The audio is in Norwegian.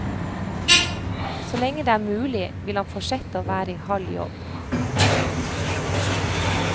Så lenge det er mulig, vil han fortsette å være i halv jobb.